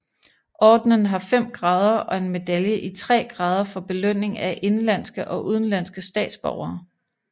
Ordenen har fem grader og en medalje i tre grader for belønning af indenlandske og udenlandske statsborgere